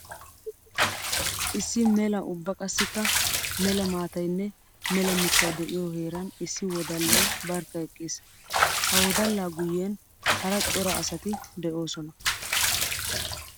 Issi mela ubba qassikka mela maatayinne mela mittay de'iyo heeran issi wodalay barkka eqqiis. Ha wodalla guyen hara cora asatti de'osonna.